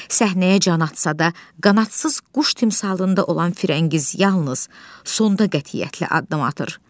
Səhnəyə can atsa da, qanadsız quş timsalında olan Firəngiz yalnız sonda qətiyyətli addım atır.